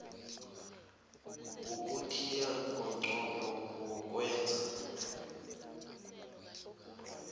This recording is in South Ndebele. yokuthiya ngomnqopho wokwenza